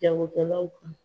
Jagokɛlaw kan